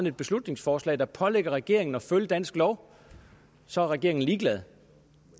et beslutningsforslag der pålægger regeringen at følge dansk lov så er regeringen ligeglad